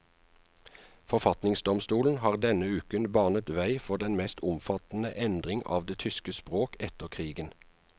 Forfatningsdomstolen har denne uken banet vei for den mest omfattende endring av det tyske språk etter krigen.